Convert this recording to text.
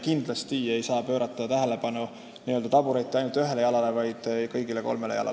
Kindlasti ei saa pöörata tähelepanu ainult tabureti ühele jalale, vaid tuleb vaadata kõiki kolme jalga.